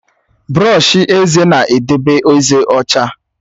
Brọọshi eze na-edobe ezé ọcha.